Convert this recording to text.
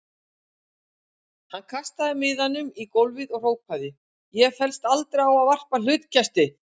Hann kastaði miðanum í gólfið og hrópaði: Ég féllst aldrei á að varpa hlutkesti.